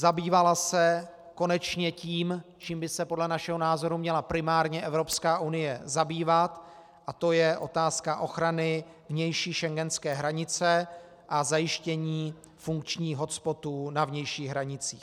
Zabývala se konečně tím, čím by se podle našeho názoru měla primárně Evropská unie zabývat, a to je otázka ochrany vnější schengenské hranice a zajištění funkčních hotspotů na vnějších hranicích.